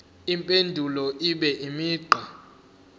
impendulo ibe imigqa